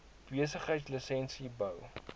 besigheids lisensies bou